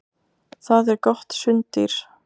Það er gott sunddýr.